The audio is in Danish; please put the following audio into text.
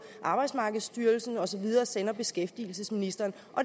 arbejdsmarkedsstyrelsen og så videre sender beskæftigelsesministeren